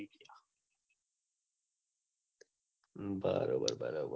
બરોબર બરોબર